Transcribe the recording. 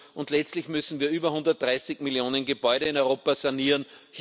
Und letztlich müssen wir über 130 Millionen Gebäude in Europa sanieren.